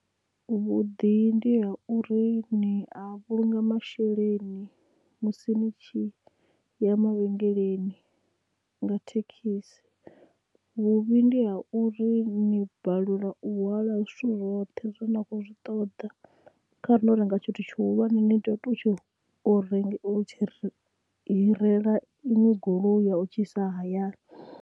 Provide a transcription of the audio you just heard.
Vhuḓi ndi ha uri ni a vhulunga masheleni musi nitshi ya mavhengeleni nga thekhisi. Vhuvhi ndi ha uri ni balelwa u hwala zwithu zwoṱhe zwine na khou zwi ṱoḓa kha ri ndo renga tshithu tshihulwane ni ḓo tea u tshi renga tshi hirela inwe goloi ya u tshi isa hayani.